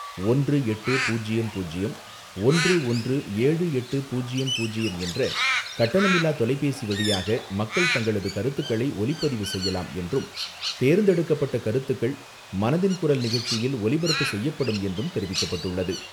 ஒன்று எட்டு பூஜ்யம் பூஜ்யம் ஒன்று ஒன்று ஏழு எட்டு பூஜ்யம் பூஜ்யம் என்ற கட்டணமில்லா தொலைபேசி வழியாக மக்கள் தங்களது கருத்துக்களை ஒலிப்பதிவு செய்யலாம் என்றும், தேர்ந்தெடுக்கப்பட்ட கருத்துக்கள் மனதின் குரல் நிகழ்ச்சியில் ஒலிபரப்பு செய்யப்படும் என்றும் தெரிவிக்கப்பட்டுள்ளது.